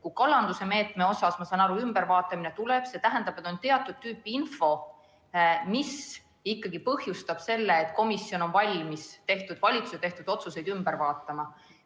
Kui kalanduse meede, ma saan aru, vaadatakse üle, siis see tähendab, et on teatud tüüpi info, mis ikkagi põhjustab selle, et komisjon on valmis valitsuse tehtud otsuseid.